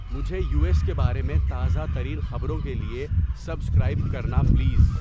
مجھے U S کے بارے میں تازہ ترین خبروں کے لئے سبسکرائب کرنا پلیز